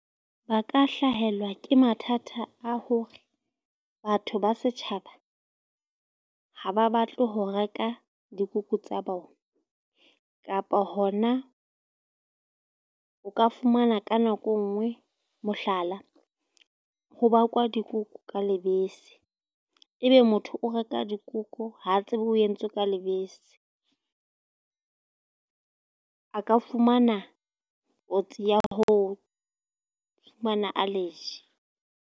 Ba ka hlahelwa ke mathata a hore batho ba setjhaba ha ba batle ho reka dikuku tsa bona. Kapa hona o ka fumana ka nako enngwe mohlala, ho bakwa dikuku ka lebese, ebe motho o reka dikuku ha tsebe o entswe ka lebese. A ka fumana kotsi ya ho fumana allergy.